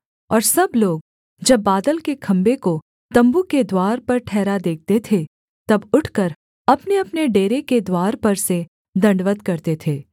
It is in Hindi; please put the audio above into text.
और सब लोग जब बादल के खम्भे को तम्बू के द्वार पर ठहरा देखते थे तब उठकर अपनेअपने डेरे के द्वार पर से दण्डवत् करते थे